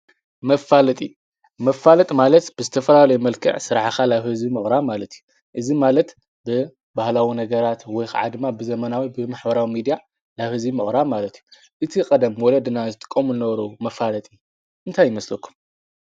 መፋለጢ መፋለጥ ማለት ብዝተፈላሉ ይመልክዕ ሠራዓኻ ላብሕዚ ምቕራ ማለት እዩ። እዝ ማለት ብ ባህላዊ ነገራት ወይኽ ዓድማ ብዘመናዊ ብምኅበራዊ ሚዲያ ላሕዚ ምቕራ ማለት እዩ። እቲ ቐደም ወለ ድና ዝጥቆምን ነበሮዉ መፋለጢ እንታይ ኣይመስለኩም?